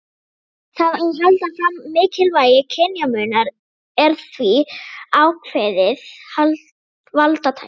Það að halda fram mikilvægi kynjamunar er því ákveðið valdatæki.